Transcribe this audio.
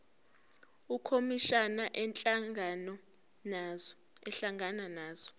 ukhomishana ehlangana nazo